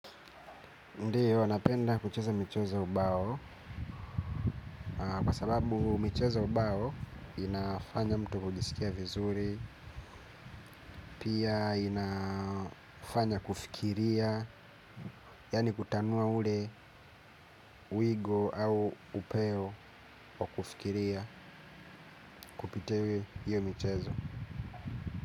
Ndiyo, napenda kucheza michezo ya ubao. Kwa sababu michezo ya ubao inafanya mtu kujisikia vizuri. Pia inafanya kufikiria. Yani kutanua ule wigo au upeo wa kufikiria kupita iwe hiyo michezo.